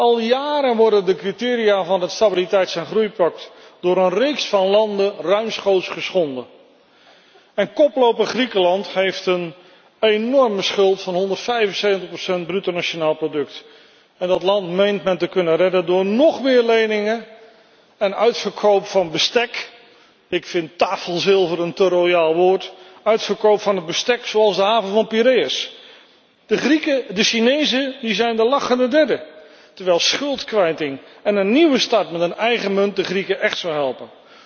Al jaren worden de criteria van het stabiliteits en groeipact door een reeks van landen ruimschoots geschonden en koploper Griekenland heeft een enorme schuld van 175 van het bruto nationaal product en dat land meent men te kunnen redden door nóg meer leningen en uitverkoop van bestek ik vind tafelzilver een te royaal woord uitverkoop van het bestek zoals de haven van Piraeus. De Chinezen zijn de lachende derde, terwijl schuldkwijting en een nieuwe start met een eigen munt de Grieken echt zou helpen.